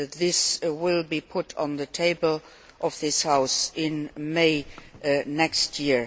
This will be put on the table of this House in May next year.